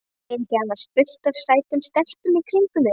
Er ekki annars fullt af sætum stelpum í kringum þig?